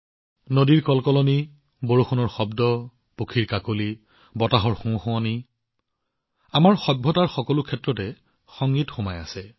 নদীৰ গুঞ্জন বৰষুণৰ টোপাল চৰাইৰ চিঞৰবাখৰ বা বতাহৰ প্ৰতিধ্বনিৰ শব্দ আমাৰ সভ্যতাৰ সকলো ঠাইতে সংগীত বিদ্যমান